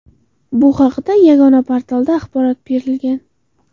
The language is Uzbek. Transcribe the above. Bu haqda Yagona portalda axborot berilgan .